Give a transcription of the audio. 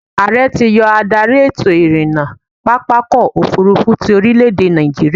Ààrẹ ti yọ adarí ètò-ìrìnnà pápákọ̀-òfurufú ti orílè-èdè nàìjíríà.